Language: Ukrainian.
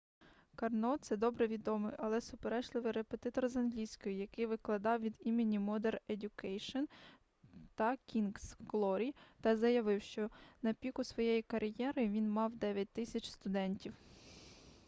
карно це добре відомий але суперечливий репетитор з англійської який викладав від імені модер едьюкейшн та кінгз глорі та заявляв що на піку своєї кар'єри він мав 9000 студентів